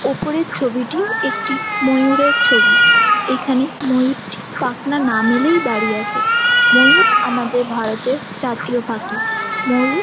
উপরের ছবিটি একটি ময়ূরের ছবি । এখানে ময়ূরটি পাখনা না মেলেই দাঁড়িয়ে আছে ময়ূর আমাদের ভারতে জাতীয় পাখি ময়ূর--